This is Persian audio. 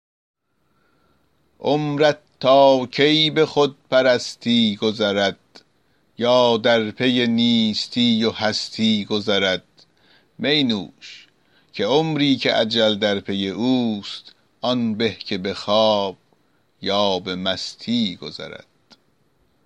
عمرت تا کی به خودپرستی گذرد یا در پی نیستی و هستی گذرد می نوش که عمری که اجل در پی اوست آن به که به خواب یا به مستی گذرد